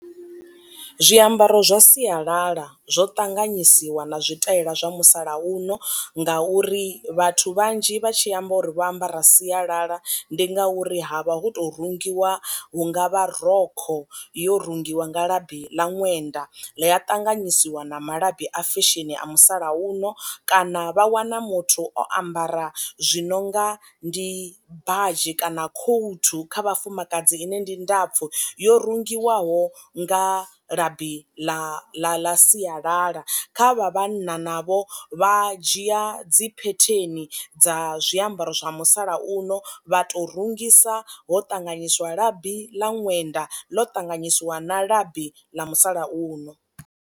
Zwiambaro zwa sialala zwo ṱanganyisiwa na zwitaela zwa musalauno ngauri vhathu vhanzhi vha tshi amba uri vho ambara sialala ndi ngauri ha vha hu to rungiwa hunga vha rokho yo rungiwa nga labi ḽa ṅwenda ḽi a ṱanganyisiwa na malabi a fesheni a musalauno, kana vha wana muthu o ambara zwi nonga ndi badzhi kana khouthu kha vhafumakadzi ine ndi ndapfu yo rungiwaho nga labi ḽa ḽa ḽa sialala, kha vha vhanna navho vha dzhia dzi phetheni dza zwiambaro zwa musalauno vha to rungisa ho ṱanganyiswa labi ḽa ṅwenda ḽo ṱanganyisiwa na labi ḽa musalauno.